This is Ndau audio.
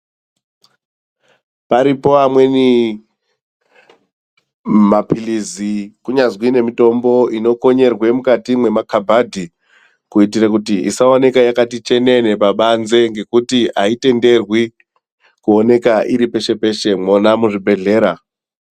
Paripo amweni mapilizi kunyazwi nemitombo inokonyerwe mukati mwemakabhadhi kuitire kuti isaoneka yakati chenene pabanze ngekuti aitenderwi kuoneke iri peshe peshe mwona muzvibhedhlera.